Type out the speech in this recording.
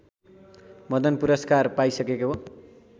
मदन पुरस्कार पाइसकेको